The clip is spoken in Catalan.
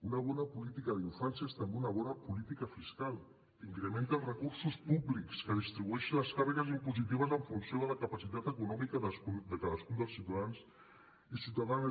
una bona política d’infància és també una bona política fiscal que incrementa els recursos públics que distribueix les càrregues impositives en funció de la capacitat econòmica de cadascú dels ciutadans i ciutadanes